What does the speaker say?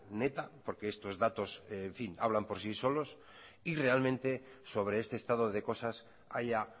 neta porque estos datos en fin hablan por sí solos y realmente sobre este estado de cosas haya